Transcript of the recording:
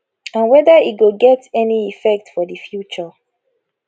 and whether e go get any effect for di future